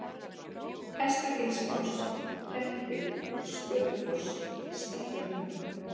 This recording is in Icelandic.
Hestagilsfoss, Prettir, Skötufoss, Stekkjartún